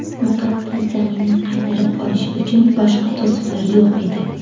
Muqaddas zaminni qaytarib olish uchun boshqa to‘siqlar yo‘q edi.